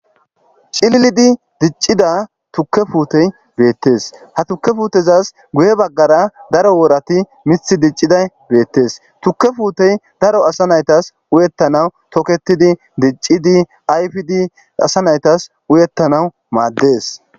cillidi diccida tukke puutey beettes ha tukke fuutezas guye baggara daro woorati mith dicciday beettes tukke puutey daro asa naytas uyettanaw toketidi diccidi ayfidi asa naytas uyettanawu maaddes